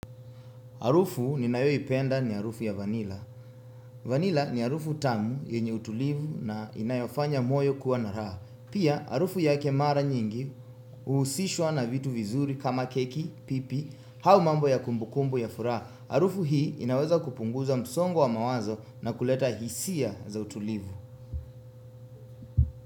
Harufu ninayoipenda ni harufu ya vanila. Vanila ni harufu tamu yenye utulivu na inayofanya moyo kuwa na raha. Pia harufu yake mara nyingi huhusishwa na vitu vizuri kama keki, pipi, au mambo ya kumbukumbu ya furaha. Harufu hii inaweza kupunguza msongo wa mawazo na kuleta hisia za utulivu.